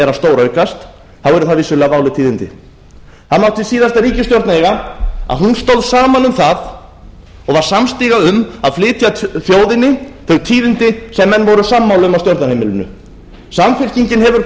er að stóraukast þá eru það vissulega váleg tíðindi það mátti síðasta ríkisstjórn eiga að hún stóð saman um það og var samstiga um að flytja þjóðinni þau tíðindi sem menn voru sammála um á stjórnarheimilinu samfylkingin hefur